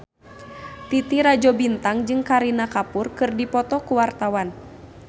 Titi Rajo Bintang jeung Kareena Kapoor keur dipoto ku wartawan